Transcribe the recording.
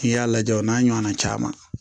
N'i y'a lajɛ o n'a ɲɔgɔn na caman